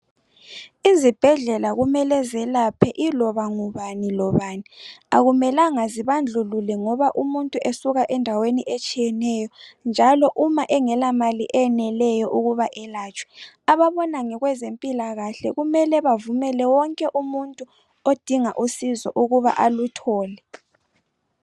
Izibhedlela kumele zelaphe iloba ngubani lobani. Akumelanga zibandlulule ngoba umuntu esuka endaweni etshiyeneyo njalo uma engela mali eyeneleyo ukuba elatshwe. Ababona ngokwezempilakahle kumele bavumele wonke umuntu odinga usizo ukuba aluthole.